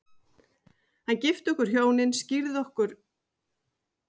Sleit niður körfuna